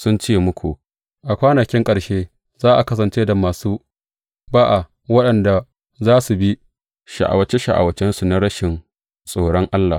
Sun ce muku, A kwanakin ƙarshe za a kasance da masu ba’a waɗanda za su bi sha’awace sha’awacensu na rashin tsoron Allah.